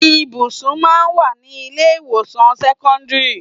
Ibùsùn máa ń wà ní ilé ìwòsàn sẹ́kọ́ńdírì.